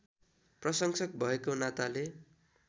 प्रशंसक भएको नाताले